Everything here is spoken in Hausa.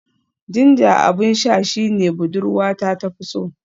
Ginger abin sha shine budurwata na fi so